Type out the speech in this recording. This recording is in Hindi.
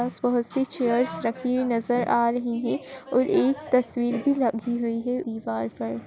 स् बहुत सी चेयर्स रखी हुई नज़र आ रही हैं और एक तस्वीर भी लगी हुई है दिवार पर --